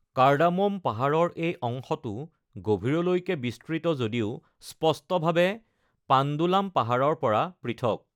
Cardamom পাহাৰৰ এই অংশটো গভীৰলৈকে বিস্তৃত যদিও স্পষ্টভাৱে পাণ্ডলাম পাহাৰৰ পৰা পৃথক।